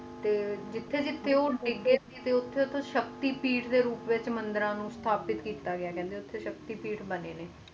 ਤੇ ਜਿੱਡੇ ਜਿੱਡੇ ਉਹ ਗਿਰਰੇ ਸੀ ਉਥੇ ਸਖਤੀ ਪੀਠ ਦੇ ਰੂਪ ਵਿਚ ਮੰਦਿਰਾਂ ਨੂੰ ਅਸ਼ਤਾਪਿਤ ਕਿੱਤਾ ਆਏ ਕਹਿੰਦੇ ਨੇ ਉਥੇ ਉਥੇ ਸਖਤੀ ਪੀਠ ਬਣੇ ਆ